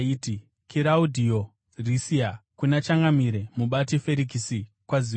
Kiraudhiyo Risiasi, kuna Changamire, Mubati Ferikisi: Kwaziwai.